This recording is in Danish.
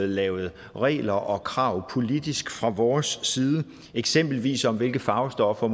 lavet regler og krav politisk fra vores side eksempelvis om hvilke farvestoffer